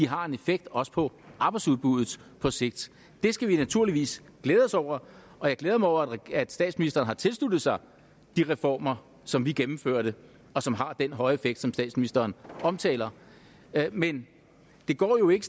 har en effekt også på arbejdsudbuddet på sigt det skal vi naturligvis glæde os over og jeg glæder mig over at statsministeren har tilsluttet sig de reformer som vi gennemførte og som har den høje effekt som statsministeren omtaler men det går jo ikke